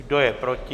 Kdo je proti?